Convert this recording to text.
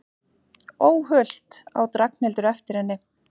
Óhult! át Ragnhildur eftir henni.